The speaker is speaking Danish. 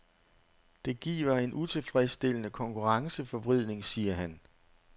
Det giver en utilfredsstillende konkurrenceforvridning, siger han.